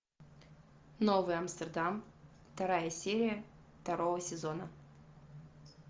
новый амстердам вторая серия второго сезона